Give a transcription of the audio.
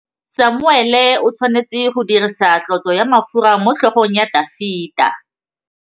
Samuele o tshwanetse go dirisa tlotsô ya mafura motlhôgong ya Dafita.